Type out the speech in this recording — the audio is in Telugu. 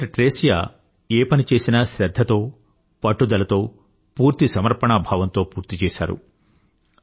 సిస్టర్ ట్రేసియా ఏ పని చేసినా శ్రధ్ధతో పట్టుదలతో పూర్తి సమర్పణాభావంతో పూర్తి చేశారు